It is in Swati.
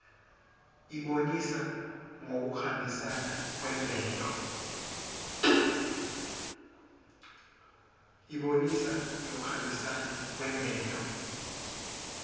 ibonisa ngekuhambisana kwemvelo